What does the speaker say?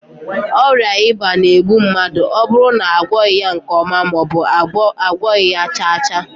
Oria iba na- egbu mmadu oburu na agwoghi ya nke oma, maobu na agwoghi ya chaa chaa